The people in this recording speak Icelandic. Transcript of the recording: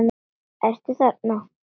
Ertu þarna?